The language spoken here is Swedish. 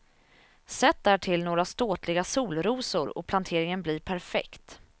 Sätt därtill några ståtliga solrosor och planteringen blir perfekt.